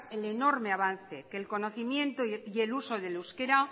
el enorme avance que el conocimiento y el uso del euskera